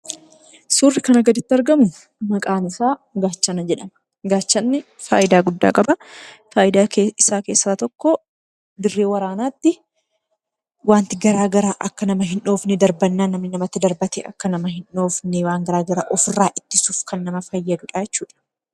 Surrii kanaa gaditti argamu, maqaa isaa gaachana jedhama. Gaachanni faayidaa guddaa qaba. Faayidaa isaa keessaa tokko dirree waraanaattii wanti garaagaraa akka nama hinhoodhofne, darbannaa namni namatti darbate akka nama hindhoofne ,wanta garaagaraa ofirraa ittisuuf kan nama fayyaduudha jechuudha.